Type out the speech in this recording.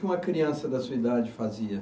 Uma criança da sua idade fazia?